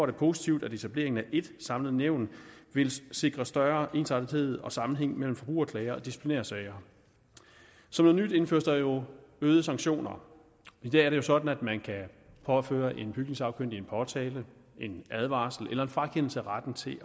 det positivt at etableringen af ét samlet nævn vil sikre større ensartethed og sammenhæng mellem forbrugerklager og disciplinærsager som noget nyt indføres der jo øgede sanktioner i dag er det sådan at man kan påføre en bygningssagkyndig en påtale en advarsel eller en frakendelse af retten til